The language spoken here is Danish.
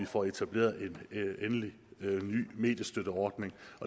får etableret en ny mediestøtteordning